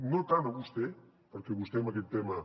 no tant a vostè perquè vostè en aquest tema